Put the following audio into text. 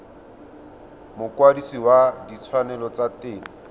mokwadise wa ditshwanelo tsa temo